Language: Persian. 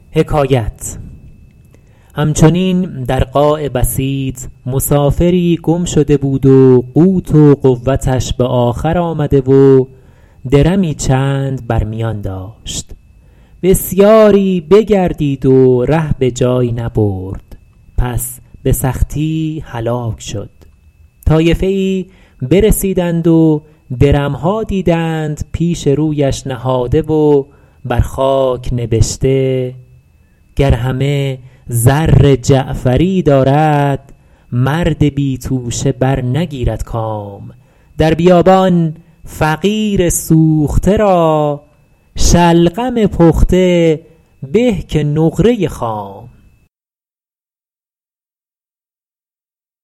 هم چنین در قاع بسیط مسافری گم شده بود و قوت و قوتش به آخر آمده و درمی چند بر میان داشت بسیاری بگردید و ره به جایی نبرد پس به سختی هلاک شد طایفه ای برسیدند و درم ها دیدند پیش رویش نهاده و بر خاک نبشته گر همه زر جعفری دارد مرد بی توشه برنگیرد گام در بیابان فقیر سوخته را شلغم پخته به که نقره خام